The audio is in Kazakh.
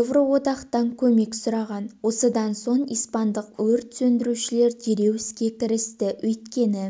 еуроодақтан көмек сұраған осыдан соң испандық өрт сөндірушілер дереу іске кірісті өйткені